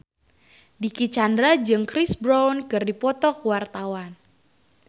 Dicky Chandra jeung Chris Brown keur dipoto ku wartawan